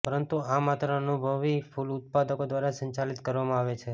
પરંતુ આ માત્ર અનુભવી ફૂલ ઉત્પાદકો દ્વારા સંચાલિત કરવામાં આવે છે